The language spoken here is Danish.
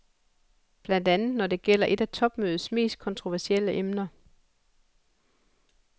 Blandt andet når det gælder et af topmødets mest kontroversielle emner.